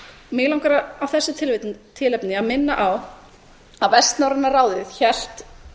mig langar af þessu tilefni að minna á að vestnorræna ráðið hélt